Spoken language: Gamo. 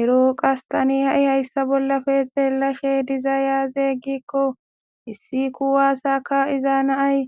Ero qas tani ha'i hayssa bollafe xeellashe diza yaazeeyggikko issi kuwaasaka iza naay